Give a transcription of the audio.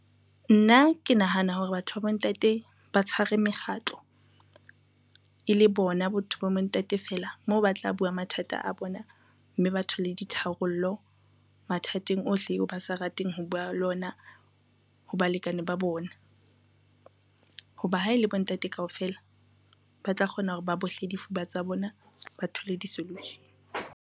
Nna ke nahana hore batho ba bontate ba tshware mekgatlo, e le bona botho ba bontate fela moo ba tla bua mathata a bona mme ba thole ditharollo mathateng ohle ba sa rateng ho bua le ona ho balekane ba bona, ho ba ha e le bontate kaofela ba tla kgona hore ba bohle difuba tsa bona, ba thole di-solution.